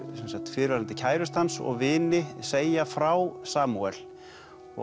fyrrverandi kærustu hans og vini segja frá Samúel og